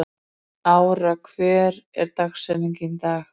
Ára, hver er dagsetningin í dag?